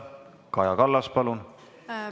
Kaja Kallas, palun!